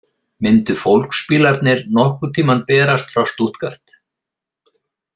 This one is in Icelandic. Myndu fólksbílarnir nokkurn tímann berast frá Stuttgart?